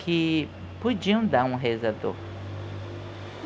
Que podiam dar um rezador.